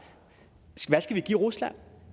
hvad skal vi give rusland